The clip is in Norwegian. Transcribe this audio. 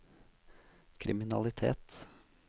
kriminalitet